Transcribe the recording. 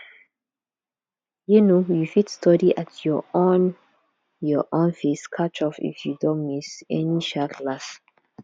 um you fit study at your own your own pace catch up if you don miss any um class